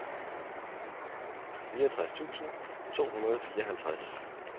fireogtres tusind to hundrede og fireoghalvtreds